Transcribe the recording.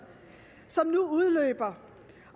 som nu udløber